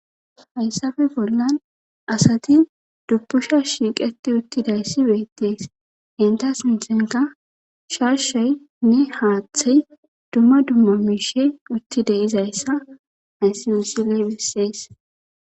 Hayssafe bollan asati dupusha shiiqeti uttidayssi beettees entas minthenka sharshaynne haaththey dumma dumma miishe utti deizayssa hayssiusileybissees